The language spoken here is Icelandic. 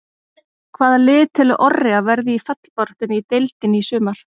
Hvaða lið telur Orri að verði í fallbaráttunni í deildinni í sumar?